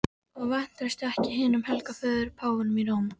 Og vantreystu ekki hinum helga föður, páfanum í Róm.